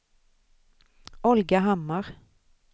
Olga Hammar